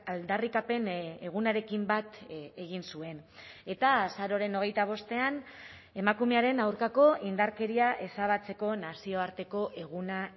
aldarrikapen egunarekin bat egin zuen eta azaroaren hogeita bostean emakumearen aurkako indarkeria ezabatzeko nazioarteko eguna